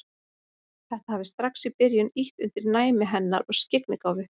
Þetta hafi strax í byrjun ýtt undir næmi hennar og skyggnigáfu.